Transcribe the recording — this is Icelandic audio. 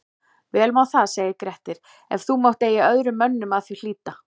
Vel má það segir Grettir, ef þú mátt eigi öðrum mönnum að því hlíta